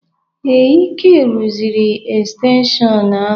Ee, Ike rụziri estenshịon ahụ.